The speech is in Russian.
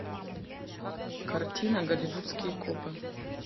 картина голливудские копы